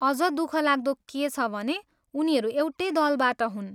अझ दुखलाग्दो के छ भने उनीहरू एउटै दलबाट हुन्।